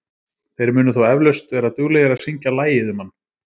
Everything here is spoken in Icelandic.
Þeir munu þó eflaust vera duglegir að syngja lagið um hann.